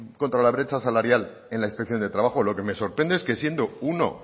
contra la brecha salarial en la inspección de trabajo lo que me sorprende es que siendo uno